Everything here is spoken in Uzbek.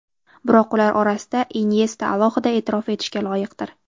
Biroq ular orasida Inyesta alohida e’tirof etishga loyiqdir.